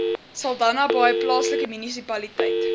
saldanhabaai plaaslike munisipaliteit